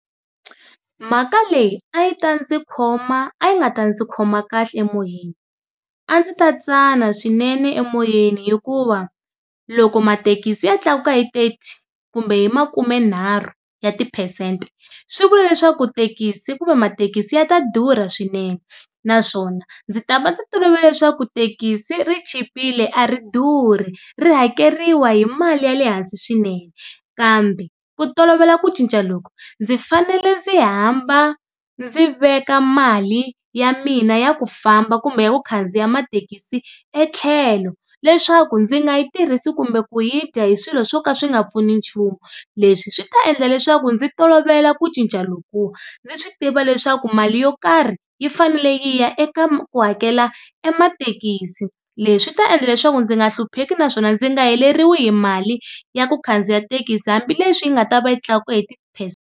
Mhaka leyi a yi ta ndzi khoma a yi nga ta ndzi khoma kahle emoyeni, a ndzi ta tsana swinene emoyeni hikuva loko mathekisi ya tlakuka hi thirty kumbe hi makumenharhu ya tiphesente swi vula leswaku thekisi kumbe mathekisi ya ta durha swinene naswona ndzi ta va ndzi tolovela leswaku thekisi ri chipile a ri durhi ri hakeriwa hi mali ya le hansi swinene kambe ku tolovela ku cinca loko ndzi fanele ndzi hamba ndzi veka mali ya mina ya ku famba kumbe ya ku khandziya mathekisi etlhelo, leswaku ndzi nga yi tirhisi kumbe ku yi dya hi swilo swo ka swi nga pfuni nchumu. Leswi swi ta endla leswaku ndzi tolovela ku cinca loku ndzi swi tiva leswaku mali yo karhi yi fanele yi ya eka ku hakela emathekisini. Leswi swi ta endla leswaku ndzi nga hlupheki naswona ndzi nga heleriwe hi mali ya ku khandziya thekisi hambileswi yi nga ta va yi tlakuka .